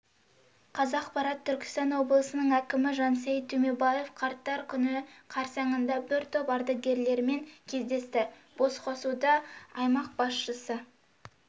қазақпарат түркістан облысының әкімі жансейіт түймебаев қарттар күні қарсаңында бір топ ардагерлерімен кездесті басқосуда аймақ басшысы